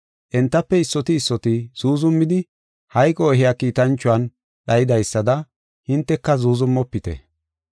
Entafe issoti issoti zuuzumidi hayqo ehiya kiitanchuwan dhayidaysada hinteka zuuzumofite.